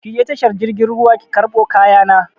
Ki je tashar jirgin ruwa ki karɓo kaya na!